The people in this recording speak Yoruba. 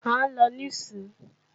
À ń lọ níìsín